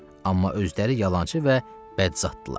Amma özləri yalançı və bədzaddırlar.